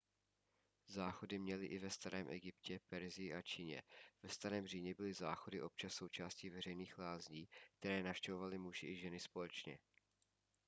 záchody měli i ve starém egyptě persii a číně ve starém římě byly záchody občas součástí veřejných lázní které navštěvovali muži i ženy společně